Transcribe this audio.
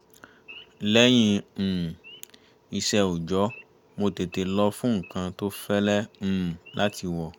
lẹ́yìn um iṣẹ́ òòjọ́ mo tètè lọ fún nǹkan tó fẹ́lẹ́ um láti wọ̀